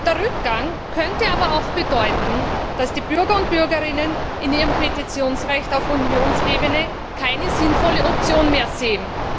Der Rückgang könnte aber auch bedeuten, dass die Bürger und Bürgerinnen in ihrem Petitionsrecht auf Unionsebene keine sinnvolle Option mehr sehen.